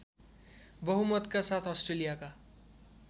बहुमतका साथ अस्ट्रेलियाका